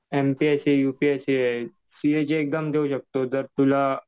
MPSC UPSC, सीएची exam देऊ शकतो जर तुला